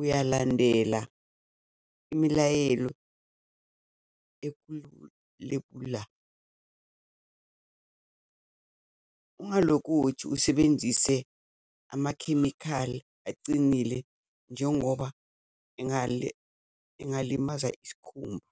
uyalandela imilayelo lepula. Ungalokothi usebenzise amakhemikhali acinile njengoba engalimaza isikhumba.